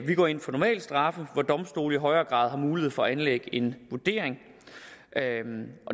vi går ind for normale straffe hvor domstole i højere grad har mulighed for at anlægge en vurdering